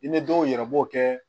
I ni dɔw yɛrɛ b'o kɛ